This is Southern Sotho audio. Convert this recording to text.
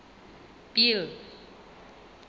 bill